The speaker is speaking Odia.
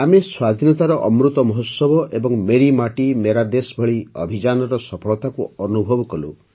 ଆମେ ସ୍ୱାଧୀନତାର ଅମୃତ ମହୋତ୍ସବ ଏବଂ ମେରି ମାଟି ମେରା ଦେଶ୍ ଭଳି ଅଭିଯାନର ସଫଳତାକୁ ଅନୁଭବ କଲୁ